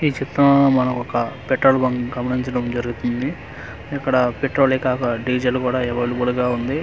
ఈ చిత్రంలో మనం ఒక పెట్రోల్ బంకు గమనించడం జరుగుతుంది ఇక్కడ పెట్రోల్ ఏకాక డీజిల్ కూడా అవైలబుల్ గ ఉంది.